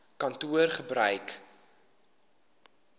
kantoor gebruik eisnr